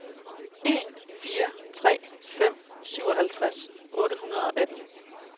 en fire tre fem syvoghalvtreds otte hundrede og atten